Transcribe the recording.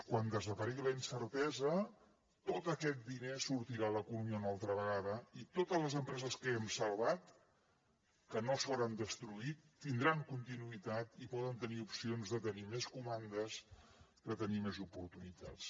quan desaparegui la incertesa tot aquest diner sortirà a l’economia una altra vegada i totes les empreses que hem salvat que no s’hauran destruït tindran continuïtat i poden tenir opcions de tenir més comandes de tenir més oportunitats